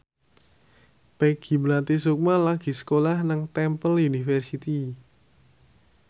Peggy Melati Sukma lagi sekolah nang Temple University